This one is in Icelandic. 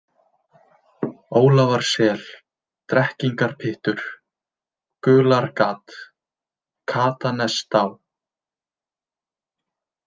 Ólafarsel, Drekkingarpyttur, Gulargat, Katanestá